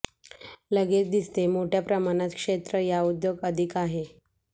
लगेच दिसते मोठ्या प्रमाणात क्षेत्र या उद्योग अधिक आहे